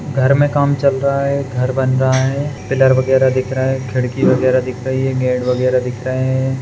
घर में काम चल रहा है घर बन रहा है पिलर वैगरह बन रहा है खिड़की वैगरह दिख रही है गेट वैगरह दिख रहे है।